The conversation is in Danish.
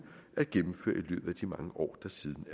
at gennemføre i mange år der siden